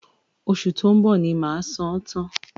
Oṣù tó ń bọ̀ ni màá san án tán